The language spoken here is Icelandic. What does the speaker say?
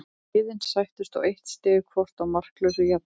Liðin sættust á eitt stig hvort í markalausu jafntefli.